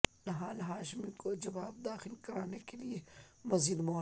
نہال ہاشمی کو جواب داخل کرانے کے لیے مزید مہلت